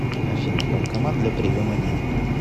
афина банкомат для приема денег